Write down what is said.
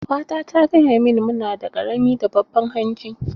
Ƙawata ta gaya mini mu nada ƙarami da babban hanji.